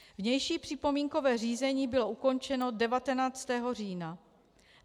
Vnější připomínkové řízení bylo ukončeno 19. října.